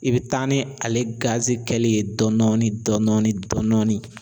I be taa ni ale gazi kɛli ye dɔndɔni dɔndɔni dɔndɔni